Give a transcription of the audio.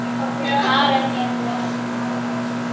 Karen: Hefurðu orðið fyrir árás?